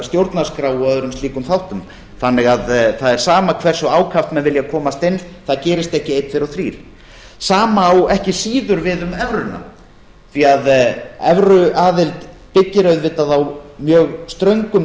stjórnarskrá og öðrum slíkum þáttum þannig að það er sama hversu ákaft menn vilja komast inn það gerist ekki einn tveir og þrír sama á ekki síður við um evruna því evruaðild byggir auðvitað á mjög ströngum